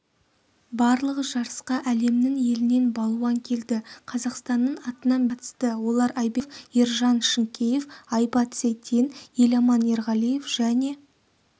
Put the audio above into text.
барлығы жарысқа әлемнің елінен балуан келді қазақстанның атынан бес спортшы қатысты олар айбек нұғымаров ержан шынкеев айбат сейтен еламан ерғалиев және